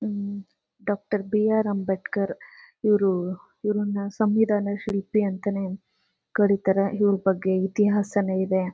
Doctor B R. Ambedkar ಇವರು ಇವರುನ ಸಂವಿಧಾನಾ ಶಿಲ್ಪಿ ಅಂತಾನೆ ಕರೀತಾರೆ ಇವರು ಬಗ್ಗೆ ಇತಿಹಾಸನೇ ಇದೆ.